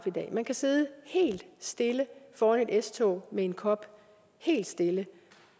i dag man kan sidde helt stille foran et s tog med en kop helt stille